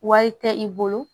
Wari tɛ i bolo